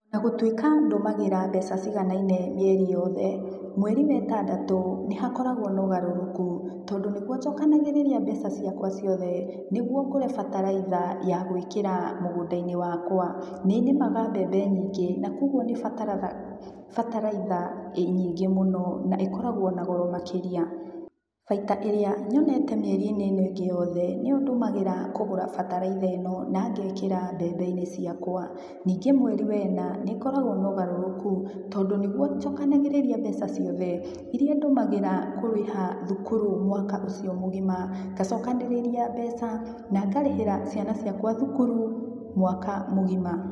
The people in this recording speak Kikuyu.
Onagũtuĩka ndũmagĩra mbeca ciganaine mĩeri yothe, mweri wetandatũ nĩhakoragũo na ũgarũrũku, tondũ nĩguo njokanagĩrĩria mbeca ciakwa ciothe nĩguo ngũre bataraitha ya gũĩkĩra mũgũnda-inĩ wakwa. Nĩ nĩmaga mbembe nyingĩ, na kuoguo nĩbataraga bataraitha nyingĩ mũno na ĩkoragũo na goro makĩria. Baita ĩrĩa nyonete mĩeri-inĩ ino ĩngĩ yothe, nĩyo ndũmagĩra kũgũra bataraitha ĩno na ngekĩra mbembe-inĩ ciakwa. Ningĩ mweri wa ĩna, nĩngoragũo na ũgarũrũku, tondũ nĩguo njokanagĩrĩria mbeca ciothe, iria ndũmagĩra kũrĩha thukuru mwaka ũcio mũgima, ngacokanĩrĩria mbeca na ngarĩhĩra ciana ciakwa thukuru mwaka mũgima.